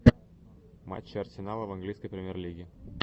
матчи арсенала в английской премьер лиги